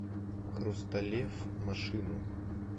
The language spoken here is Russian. хрусталев машину